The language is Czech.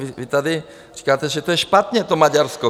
Vy tady říkáte, že to je špatně, to Maďarsko.